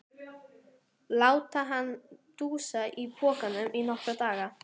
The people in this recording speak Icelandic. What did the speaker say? Láta hann dúsa í pokanum í nokkra daga!